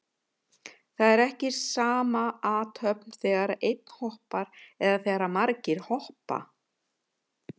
Það er ekki sama athöfn þegar einn hoppar eða þegar margir hoppa.